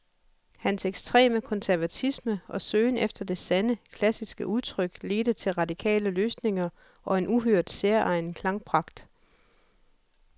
Hans ekstreme konservatisme og søgen efter det sande, klassiske udtryk ledte til radikale løsninger og en uhørt, særegen klangpragt.